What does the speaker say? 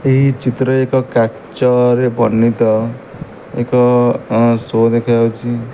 ଏହି ଚିତ୍ରରେ ଏକ କାଚରେ ବନିତ ଏକ ଶୋ ଦେଖାଯାଉଚି।